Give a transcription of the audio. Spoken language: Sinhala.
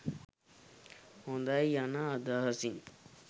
හොඳයි යන අදහසින්